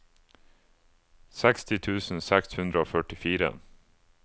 seksti tusen seks hundre og førtifire